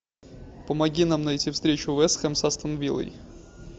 помоги нам найти встречу вест хэм с астон виллой